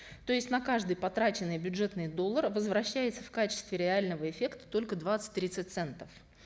то есть на каждый потраченный бюджетный доллар возвращается в качестве реального эффекта только двадцать тридцать центов